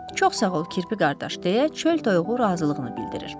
Çox sağ ol kirpi qardaş, deyə çöl toyuğu razılığını bildirir.